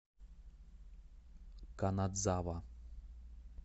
канадзава